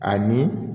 Ani